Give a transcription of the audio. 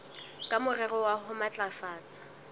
ka morero wa ho matlafatsa